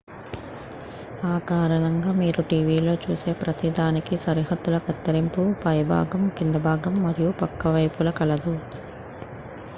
ఆ కారణంగా మీరు టీవీలో చూసే ప్రతిదానికీ సరిహద్దుల కత్తిరింపు పైభాగం కిందిభాగం మరియు పక్క వైపులా కలదు